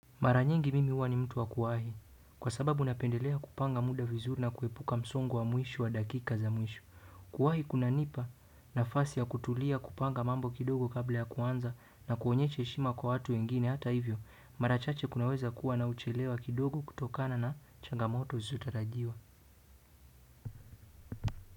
Maraniyngi mimi huwa mtu wa kuwahi kwa sababu napendelea kupanga muda vizuri na kuepuka msongo wa mwisho wa dakika za mwisho kuwahi kunanipa nafasi ya kutulia kupanga mambo kidogo kabla ya kuanza na kuonyesha heshima kwa watu wengine hata hivyo, mara chache kunaweza kuwa na uchelewa kidogo kutokana na changamoto zisizotarajiwa.